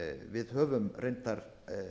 við höfum reyndar